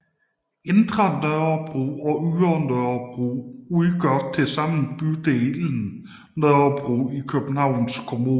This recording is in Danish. Indre Nørrebro og Ydre Nørrebro udgør til sammen bydelen Nørrebro i Københavns Kommune